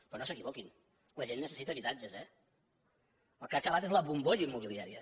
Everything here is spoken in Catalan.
però no s’equivoquin la gent necessita habitatges eh el que ha acabat és la bombolla immobiliària